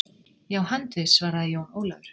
Já, handviss, svaraði Jón Ólafur.